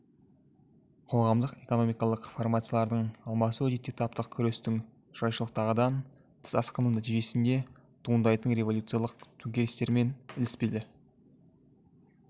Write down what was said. қоғамдық экономикалық формациялардың алмасуы әдетте таптық күрестің жайшылықтағыдан тыс асқыну нәтижесінде туындайтын революциялық төңкерістермен ілеспелі